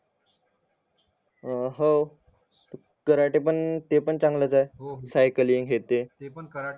हो कराने पण हो हो ते पण चांगलाच आहे सायकलिंग हे ते